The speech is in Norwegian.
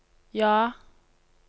ja